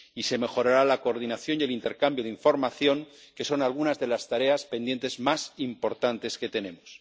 Y se mejorará la coordinación y el intercambio de información, que son algunas de las tareas pendientes más importantes que tenemos.